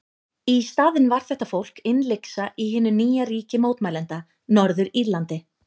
Í staðinn var þetta fólk innlyksa í hinu nýja ríki mótmælenda, Norður-Írlandi.